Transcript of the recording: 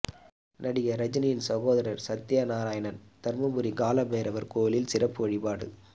நடிகா் ரஜினியின் சகோதரா் சத்யநாராயணன் தருமபுரி காலபைரவா் கோயிலில் சிறப்பு வழிபாடு